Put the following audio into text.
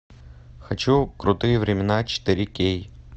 хочу крутые времена четыре кей